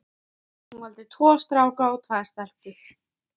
Hún valdi tvo stráka og tvær stelpur.